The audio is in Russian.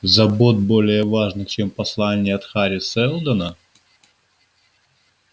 забот более важных чем послание от хари сэлдона